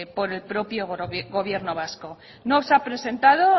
por el propio gobierno vasco no se ha presentado